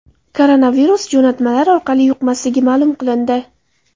Koronavirus jo‘natmalar orqali yuqmasligi ma’lum qilindi.